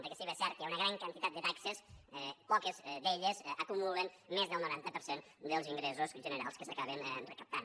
perquè si bé és cert que hi ha una gran quantitat de taxes poques d’elles acumulen més del noranta per cent dels ingressos generals que s’acaben recaptant